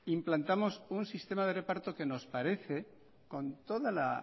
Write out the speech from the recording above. implantamos un sistema de reparto que nos parece con toda la